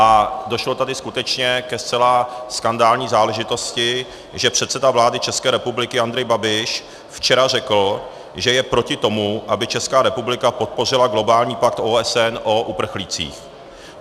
A došlo tady skutečně ke zcela skandální záležitosti, že předseda vlády České republiky Andrej Babiš včera řekl, že je proti tomu, aby Česká republika podpořila globální pakt OSN o uprchlících.